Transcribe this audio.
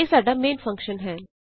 ਇਹ ਸਾਡਾ main function ਹੈ